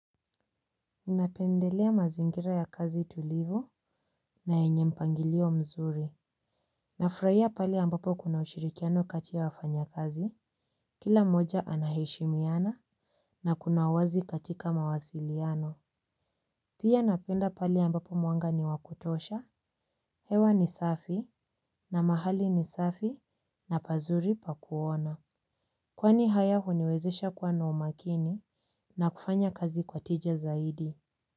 Napendelea mazingira ya kazi tulivu na yenye mpangilio mzuri. Nafurahia pale ambapo kuna ushirikiano kati ya wafanya kazi, kila mmoja anaheshimiana na kuna wazi katika mawasiliano. Pia napenda pale ambapo mwanga ni wa kutosha, hewa ni safi na mahali ni safi na pazuri pa kuona. Kwani haya huniwezesha kuwa na umakini na kufanya kazi kwa tija zaidi.